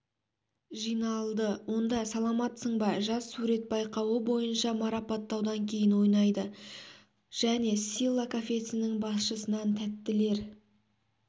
жиналды онда саламатсыңба жаз сурет байқауы бойынша марапаттаудан кейін ойнады және силла кафесінің басшысынан тәттілер